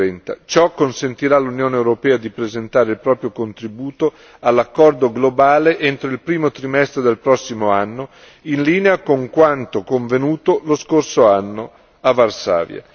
2030. Ciò consentirà all'Unione europea di presentare il proprio contributo all'accordo globale entro il primo trimestre del prossimo anno, in linea con quanto convenuto lo scorso anno a Varsavia.